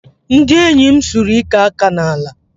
Ndị enyi m sụrụ ike aka n'ala